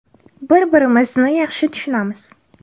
Bir-birimizni yaxshi tushunamiz.